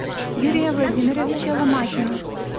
юрия владимировича ломакина